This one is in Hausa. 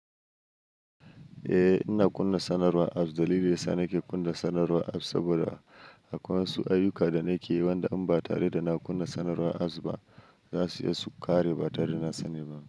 Ina kunna sanarwar apps. Dalilin yasa nake kunna sanarwar apps saboda akwai wasu ayyuka da nake yi wanda in ba tare da na kunna sanarwar apps ba zasu iya su ƙare ba tare da na sani ba.